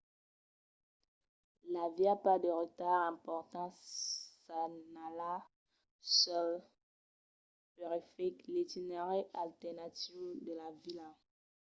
i aviá pas de retards importants senhalats sul periferic l'itinerari alternatiu de la vila